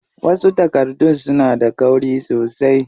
Wasu takardun suna da kauri sosai.